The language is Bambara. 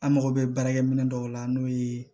An mago bɛ baarakɛ minɛ dɔw la n'o ye